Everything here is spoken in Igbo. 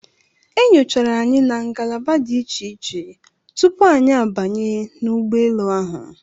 E nyochara anyi na ngalaba dị iche iche tupu anyị a banye n'ụgbọ elu ahụ.